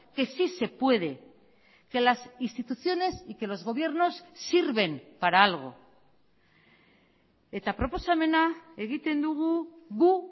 que sí se puede que las instituciones y que los gobiernos sirven para algo eta proposamena egiten dugu gu